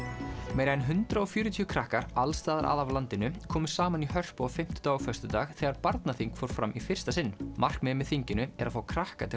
meira en hundrað og fjörutíu krakkar alls staðar að af landinu komu saman í Hörpu á fimmtudag og föstudag þegar barnaþing fór fram í fyrsta sinn markmiðið með þinginu er að fá krakka til